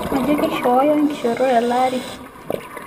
Majo keishooyo nkishoorot telaari